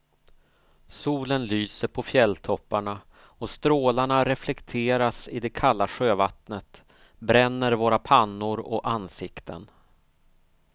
Solen lyser på fjälltopparna och strålarna reflekteras i det kalla sjövattnet, bränner våra pannor och ansikten.